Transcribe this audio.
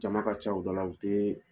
Jama ka ca